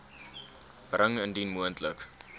bring indien moontlik